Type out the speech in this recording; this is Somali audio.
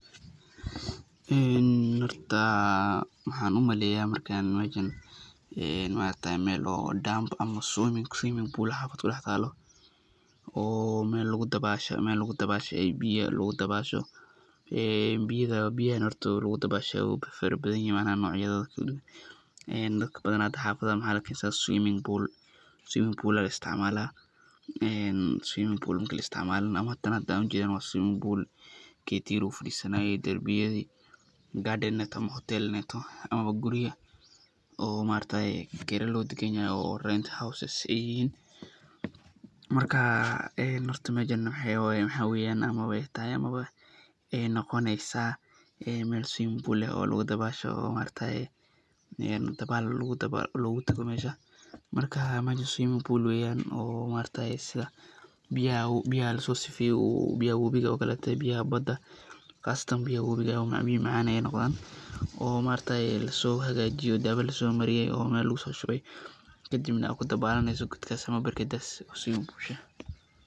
Horta waxaan umaleeya meeshan marka meel oo [dam]ama [swimming pool]ah bad kudax talo oo meel lagu dabaasho biya lagu dabaasho, biyaha lagu dabaasho horta waay fara badan yihiin waana nocya, dadka badanaa xafada waxaad arkeysa[swimming pool]ayaa la isticmaalaa,[swimming pool]marki la isticmaalana ama tan hada aniga aan ujeedana waa swimming pool, ketiya lagu fadiisanaye darbiyadi,[garden]inaay toho, hotel inaay toho ama gurya oo maargtaye kira loo dagan yahay oo [rent houses]aay yihiin, marka horta meeshan waxaa weeyan amaba aay tahay amaba aay noqoneysa meel [swimming pool]ah oo lagu dabaasho oo maargtaye dabaal loogu tago meesha, marka meesha [swimming pool] weeyan oo Sida biyaha lasoo sifeeye biyaha wabiga oo kaleete, biyaha Bada, qasatan biyaha wabiga biya macaan ayeey noqdaan, oo lasoo hagaajiye, daawa lasoo mariye oo meel lugu soo shube, kadibna aad kudabalaneyso goodkaas oo berkadaas[swimming pool]ka.